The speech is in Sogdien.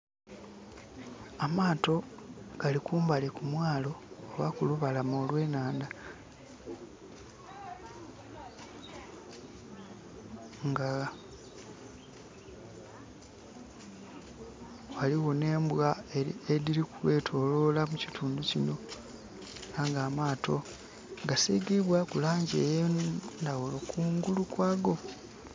Amaato gali kumbali ku mwaalo oba kulubalama olw'enhandha. Nga ghaligho nh'embwa edhili kwetoloola mu kitundu kino. Ela nga amaato ga sigibwaaku laangi ey'endaghulo kungulu kwago.